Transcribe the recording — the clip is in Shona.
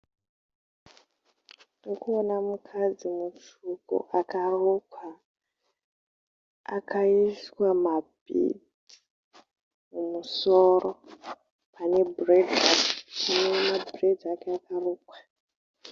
Tiri kuona mukadzi mutsvuku akarukwa akaiswa mabhidzi mumusoro pane mabhureidzi ake akarukwa.